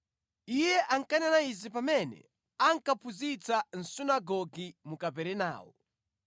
Iye ankanena izi pamene ankaphunzitsa mʼsunagoge mu Kaperenawo.